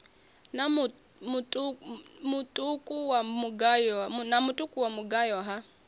na mutuku wa mugayo ha